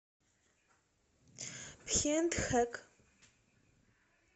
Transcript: пхентхэк